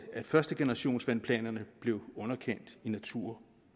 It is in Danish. at førstegenerationsvandplanerne blev underkendt i natur